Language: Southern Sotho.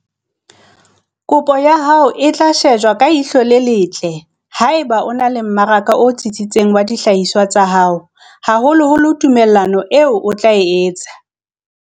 Kopo ya hao e tla shejwa ka ihlo le letle haeba o na le mmaraka o tsitsitseng wa dihlahiswa tsa hao, haholoholo tumellano eo o tla e etsa.